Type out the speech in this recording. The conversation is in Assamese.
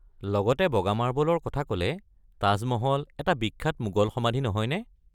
লগতে বগা মাৰ্বলৰ কথা ক'লে, তাজমহল এটা বিখ্য়াত মোগল সমাধি নহয়নে?